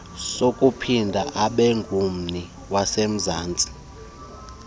sokuphinda abengummi wasemzansti